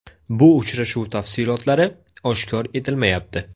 Bu uchrashuv tafsilotlari oshkor etilmayapti.